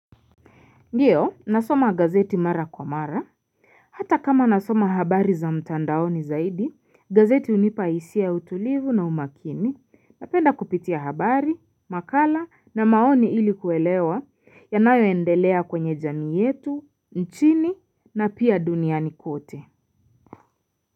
Ndiyo nasoma gazeti mara kwa mara Hata kama nasoma habari za mtandaoni zaidi gazeti hunipa hisia ya utulivu na umakini napenda kupitia habari makala na maoni ili kuelewa yanayo endelea kwenye jamii yetu nchini na pia duniani kote.